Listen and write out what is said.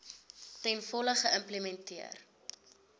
ten volle geïmplementeer